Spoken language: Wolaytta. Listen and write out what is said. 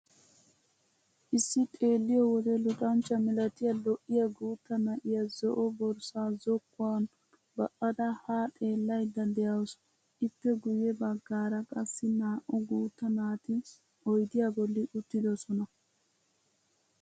Issi xeelliyo wode luxanchcha milatiya, lo'iya guutta na'iyaa zo'o borssaa zokkuwan ba'ada haa xeellaydda de'awusu. Ippe guyye baggaara qassi naa'u guutta naati oydiyaa bolli uttidosona.